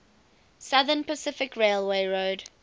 southern pacific railroad